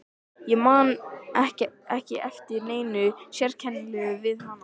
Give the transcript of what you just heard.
Ég man ekki eftir neinu sérkennilegu við hann.